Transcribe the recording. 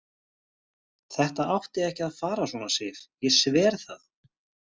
Þetta átti ekki að fara svona, Sif, ég sver það.